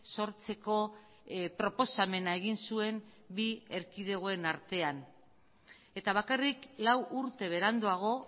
sortzeko proposamena egin zuen bi erkidegoen artean eta bakarrik lau urte beranduago